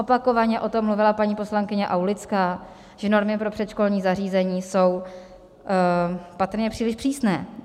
Opakovaně o tom mluvila paní poslankyně Aulická, že normy pro předškolní zařízení jsou patrně příliš přísné.